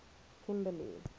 kimberly